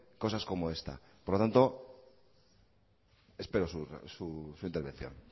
cosas como esta por lo tanto espero su intervención